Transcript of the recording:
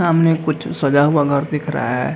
सामने कुछ सजा हुआ घर दिख रहा है।